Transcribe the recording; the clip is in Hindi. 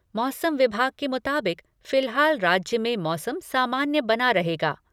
मौसम विभाग के मुताबिक फिलहाल राज्य में मौसम सामान्य बना रहेगा।